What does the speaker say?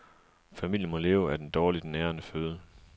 Familien må leve af den dårligt nærende føde.